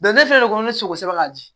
ne fɛnɛ ko ne sogo sɛbɛn k'a di